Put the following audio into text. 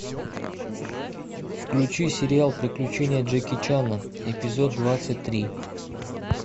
включи сериал приключения джеки чана эпизод двадцать три